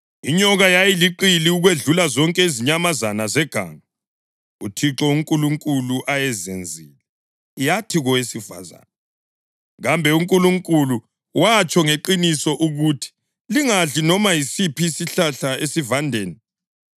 Inyoka yayiliqili ukwedlula zonke izinyamazana zeganga uThixo uNkulunkulu ayezenzile. Yathi kowesifazane, “Kambe uNkulunkulu watsho ngeqiniso ukuthi, ‘Lingadli noma yisiphi isihlahla esivandeni’?”